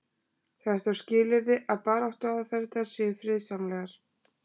það er þó skilyrði að baráttuaðferðirnar séu friðsamlegar